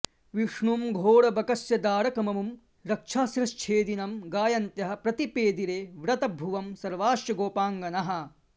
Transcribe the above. विष्णुं घोरबकास्यदारकममुं रक्षःशिरश्छेदिनं गायन्त्यः प्रतिपेदिरे व्रतभुवं सर्वाश्च गोपाङ्गनाः